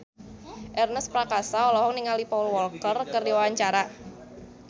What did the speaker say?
Ernest Prakasa olohok ningali Paul Walker keur diwawancara